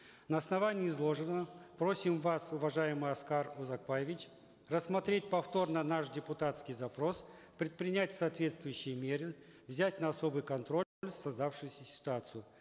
на основании изложенного просим вас уважаемый аскар узакбаевич рассмотреть повторно наш депутатский запрос предпринять соответствующие меры взять на особый создавшуюся ситуацию